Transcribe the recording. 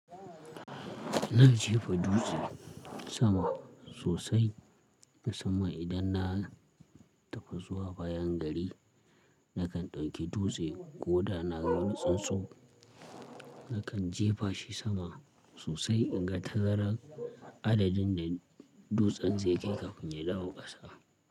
Na jefa dutse sama sosai musamman idan na tafi zuwa bayan gari, nakan ɗauki dutse ko da na ga wani tsuntsu, nakan jefa shi sama sosai in ga tazaran adadin da dutsen ze kai kafin ya dawo ƙasa.